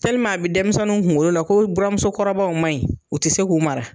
a bi denmisɛnnu kunkolo la ko buramusokɔrɔbaw maɲi, u ti se k'u mara.